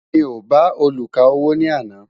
mí o bá oluka owó ní àná